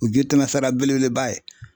O ji tɛmɛsira belebeleba ye.